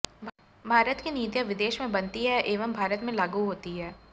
भारत की नीतियाँ विदेश में बनती है एवं भारत में लागू होती हैं